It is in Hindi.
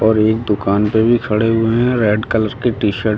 और एक दुकान पे भी खड़े हुए हैं रेड कलर की टी शर्ट --